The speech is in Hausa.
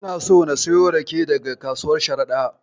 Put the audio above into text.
Ina son na siyo rake daga kasuwar Sharaɗa.